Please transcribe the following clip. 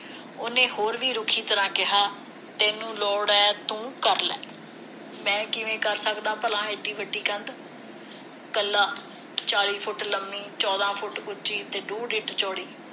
ਉਹਨੇ ਹੋਰ ਵੀ ਰੁੱਖੀ ਤਰ੍ਹਾਂ ਕਿਹਾ ਤੈਨੂੰ ਲੋੜ ਹੈ ਤੂੰ ਕਰ ਲੈ ਮੈਂ ਕਿਵੇਂ ਕਰ ਸਕਦਾ ਭਲਾ ਇੱਡੀ ਵੱਡੀ ਕੰਧ ਕੱਲਾ ਚਾਲੀ ਫੁੱਟ ਲੰਮੀ ਚੌਧਾ ਫੁੱਟ ਉਚੀ ਤੇ ਡੂਡ ਇੰਚ ਚੌੜੀ